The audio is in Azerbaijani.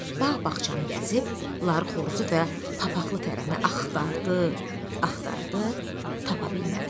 Bağ-bağçanı gəzib, Ları Xoruzu və papaxlı fərəni axtardı, axtardı, tapa bilmədi.